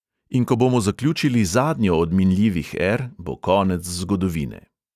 In ko bomo zaključili zadnjo od minljivih er, bo konec zgodovine.